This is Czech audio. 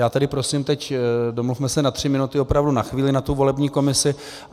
Já tedy prosím teď, domluvme se na tři minuty, opravdu na chvíli na tu volební komisi.